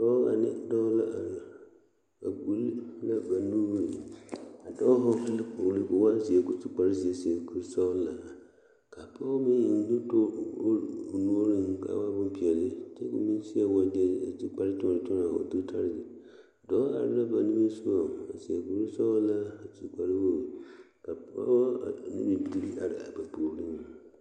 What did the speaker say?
Pɔɡe ane dɔɔ la are ba ɡbuli la ba nuuri a dɔɔ hɔɔle la kpoɡele ka o waa zeɛ ka o su kparzeɛ a seɛ kursɔɔlaa ka a pɔɡe meŋ eŋ nutuuri o nuuriŋ ka a waa bompeɛle kyɛ ka o meŋ seɛ waɡyɛ a su kpartoɔnɔtoɔnɔ o dotare dɔɔ are la ba nimisoɡa a seɛ kursɔɔlaa a su kparwoɡi ka pɔɡɔ ane bibiiri are a ba puoriŋ.